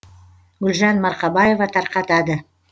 гүлжан марқабаева тарқатады